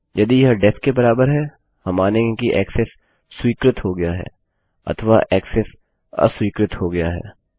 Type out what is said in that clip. यदि यह डेफ के बराबर है हम मानेंगे कि ऐक्सेस स्वीकृत हो गया अथवा ऐक्सेस अस्वीकृत हो गया है